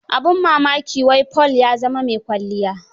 Abin mmaki, wai Paul ya zama mai kwalliya.